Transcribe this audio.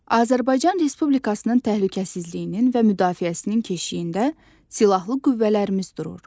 Azərbaycan Respublikasının təhlükəsizliyinin və müdafiəsinin keşiyində silahlı qüvvələrimiz durur.